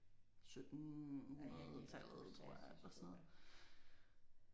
1700-tallet tror jeg eller sådan noget